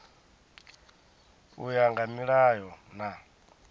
u ya nga milayo na